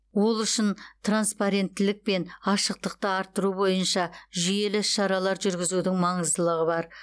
ол үшін транспаренттілік пен ашықтықты арттыру бойынша жүйелі ісшаралар жүргізудің маңыздылығы бар